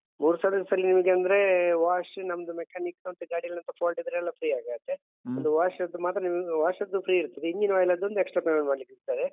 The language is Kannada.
ಮೂರು service ನಲ್ಲಿ ನಿಮ್ಗಂದ್ರೆ wash ನಮ್ದು mechanic ಮತ್ತೆ ಗಾಡಿಯಲ್ಲೆಂತ fault ಟಿದ್ರೆ ಎಲ್ಲ free ಆಗ್ ಆಗತ್ತೆ ಅದು wash ಅದ್ದು ಮಾತ್ರ ನೀವ್ wash ಅದ್ದು free ಇರ್ತದೆ engine oil ಅದೊಂದು extra payment ಮಾಡ್ಲಿಕಿರ್ತದೆ.